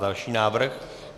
Další návrh.